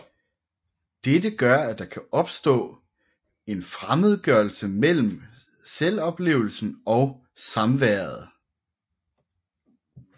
Dette gør at der kan opstå en fremmedgørelse mellem selvoplevelsen og samværet